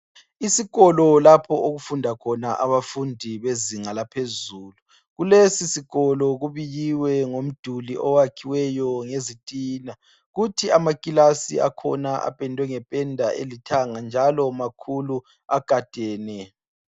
Isikolo lapho okufunda khona abafundi bezinga laphezulu. Kulesi sikolo kubikiwe ngomduli owakhiweyo ngezitina .Kuthi amaclass akhona apendwe ngependa elithanga njalo makhulu agadene .